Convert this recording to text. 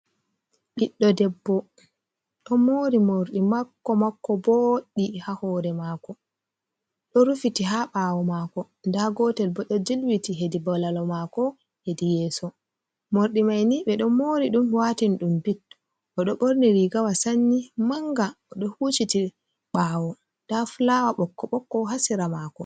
Ɓiɗɗo debbo ɗo mori morɗi mako mako boɗɗi ha hore mako do rufiti ha ɓawo mako, nda gotel bo ɗo jilwiti hedi balawol mako hedi yeso. Morɗi maini ɓe ɗo mori ɗum watin ɗum bit o ɗo borni rigawa sanyi manga o ɗo huciti ɓawo nda flawa bokko bokko hasira mako.